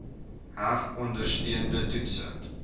heg ondersteunende toetse